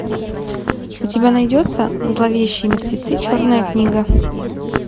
у тебя найдется зловещие мертвецы черная книга